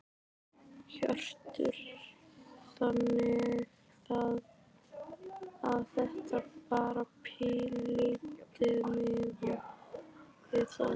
Hjörtur: Þannig að þetta bara pínulítið miðað við það?